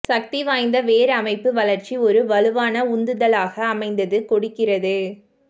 சக்தி வாய்ந்த வேர் அமைப்பு வளர்ச்சி ஒரு வலுவான உந்துதலாக அமைந்தது கொடுக்கிறது